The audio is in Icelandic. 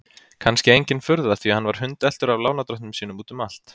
Kannski engin furða því að hann var hundeltur af lánardrottnum sínum út um allt.